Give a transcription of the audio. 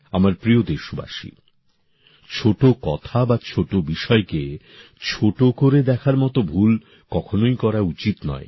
আমার প্রিয় দেশবাসী ছোট কথা বা ছোট বিষয়কে ছোট করে দেখার মত ভুল কখনোই করা উচিত নয়